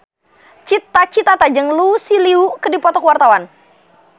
Cita Citata jeung Lucy Liu keur dipoto ku wartawan